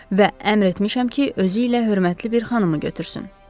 Və əmr etmişəm ki, özü ilə hörmətli bir xanımı götürsün.